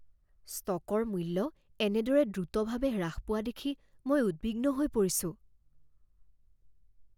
ষ্টকৰ মূল্য এনেদৰে দ্ৰুতভাৱে হ্ৰাস পোৱা দেখি মই উদ্বিগ্ন হৈ পৰিছোঁ।